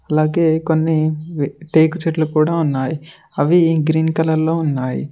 అలాగె కొన్ని టేకు చెట్లు కూడా ఉన్నాయి అవి ఈ గ్రీన్ కలర్ లో ఉన్నాయి.